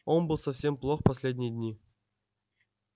он был совсем плох последние дни